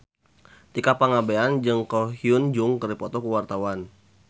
Tika Pangabean jeung Ko Hyun Jung keur dipoto ku wartawan